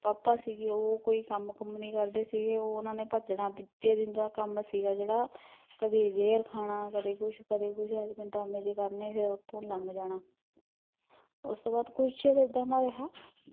ਪਾਪਾ ਸੀਗੇ ਉਹ ਕੋਈ ਕੰਮ ਕੁਮ ਨੀ ਕਰਦੇ ਸੀਗੇ, ਉਹਨਾਂ ਨੇ ਭੱਜਣਾ ਤੀਜੇ ਦਿਨ ਦਾ ਕੰਮ ਸੀਗਾ ਜਿਹੜਾ ਕਦੀ ਜਹਿਰ ਖਾਣਾ ਕਦੀ ਕੁਛ ਕਦੀ ਕੁਛ, ਏਹਏ ਜਹੇ ਡਰਾਮੇ ਜਹੇ ਕਰਨੇ ਫਿਰ ਓਥੋਂ ਲੰਘ ਜਾਣਾ ਉਸਤੋਂ ਬਾਦ ਕੁਛ ਚਿਰ ਇਦਾਂ ਦਾ ਰਿਹਾ